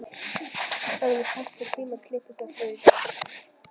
Hafey, pantaðu tíma í klippingu á þriðjudaginn.